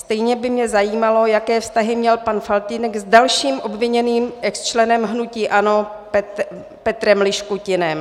Stejně by mě zajímalo, jaké vztahy měl pan Faltýnek s dalším obviněným exčlenem hnutí ANO Petrem Liškutinem.